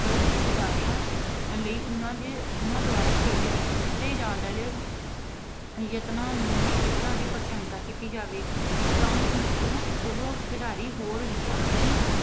ਚੁੱਕਣ ਲਈ ਖਿਡਾਰੀਆਂ ਲਈ ਉਹਨਾਂ ਦੀ ਅਹ ਉਹਨਾਂ ਦੁਆਰਾ ਖੇਡ ਵਿੱਚ ਕੀਤੇ ਜਾਣ ਵਾਲੇ ਯਤਨਾਂ ਨੂੰ ਅਹ ਯਤਨਾਂ ਦੀ ਪ੍ਰਸ਼ੰਸਾ ਕੀਤੀ ਜਾਵੇ ਤਾਂ ਕਿ ਉਹ ਅਹ ਉਹ ਖਿਡਾਰੀ ਹੋਰ ਵੀ ਆਪਣੀ